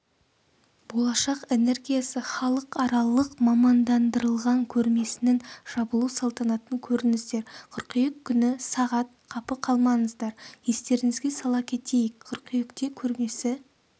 болашақ энергиясы халықаралық мамандандырылған көрмесінің жабылу салтанатын көріңіздер қыркүйек күні сағат қапы қалмаңыздар естеріңізге сала кетейік қыркүйекте көрмесі